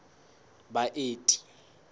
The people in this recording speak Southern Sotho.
baeti